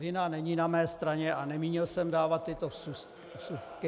Vina není na mé straně a nemínil jsem dávat tyto vsuvky.